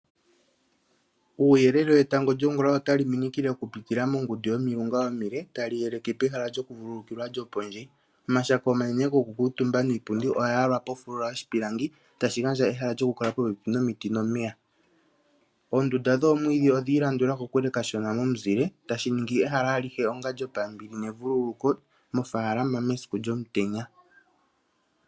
Uuyelele wetango lyongula otali minikile okupitila mongundu yomilunga omile, tali yeleke pehala lyokuvulukilwa lyo pondje. Omashako omanene gokukutumba niipundi oya yalwa pofulula yoshipilangi, tashi gandja ehala lyokukutumba popepi nomiti nomeya. Oondunda dhoomwiidhi odha ilandula kokule kashona nomizile, tashi ningi ehala alihe onga lyo pambili nevululuko moofaalama mesiku lyomutenya.